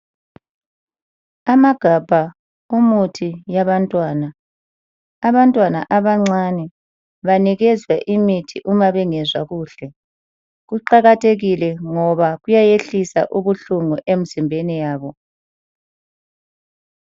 Amagabha omuthi yabantwana Abantwana abancane banikezwa imithi nxa bengezwa kuhle. Kuqakathekile ngoba kuyayehlisa ubuhlungu emizimbeni yabo.